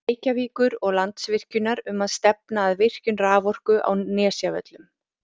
Reykjavíkur og Landsvirkjunar um að stefna að virkjun raforku á Nesjavöllum.